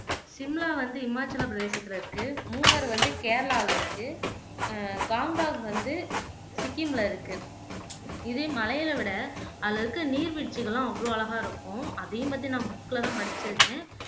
ஷிம்லா வந்து ஹிமாச்சல பிரதேசத்துல இருக்கு மூனார் வந்து கேரளால இருக்கு அஹ் காங்க்தாங்க் வந்து சிக்கிம்ல இருக்கு இதே மலைகளை விட அதுல இருக்க நீர்வீழ்ச்சிகள்லாம் அவ்வளோ அழகா இருக்கும் அதையும் பத்தி நான் புக்ல தான் படிச்சிருக்கேன்